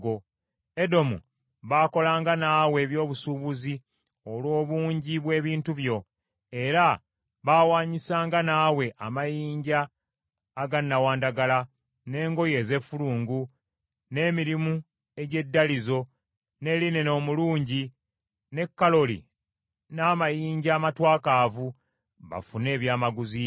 “ ‘Edomu baakolanga naawe eby’obusuubuzi olw’obungi bw’ebintu byo; era baawanyisanga naawe amayinja aga nnawandagala, n’engoye ez’effulungu, n’emirimu egy’eddalizo, ne linena omulungi ne kolali n’amayinja amatwakaavu bafune ebyamaguzi byo.